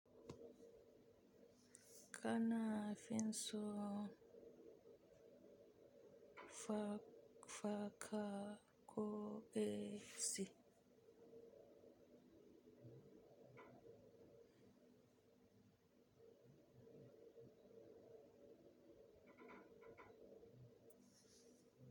Kana fin son fa-faka ko eh si.